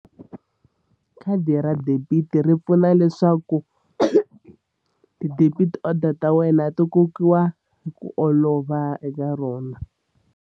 Khadi ra debit ri pfuna leswaku ti-debit order ta wena ti kokiwa hi ku olova eka rona.